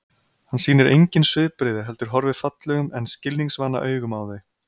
Hann sýnir engin svipbrigði heldur horfir fallegum en skilningsvana augum á þau.